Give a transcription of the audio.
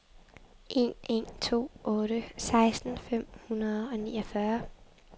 en en to otte seksten fem hundrede og niogfyrre